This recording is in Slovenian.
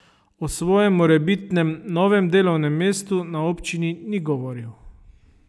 O svojem morebitnem novem delovnem mestu na občini ni govoril.